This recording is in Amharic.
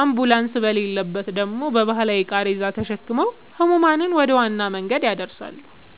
አምቡላንስ በሌለበት ደግሞ በባህላዊ ቃሬዛ ተሸክመው ሕሙማንን ወደ ዋና መንገድ ያደርሳሉ።